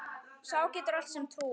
Sá getur allt sem trúir.